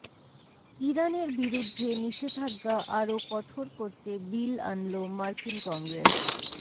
ইরানের বিরুদ্ধে নিষেধাজ্ঞা আরো কঠোর করতে বিল আনল মার্কিন কংগ্রেস